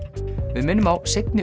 við minnum á seinni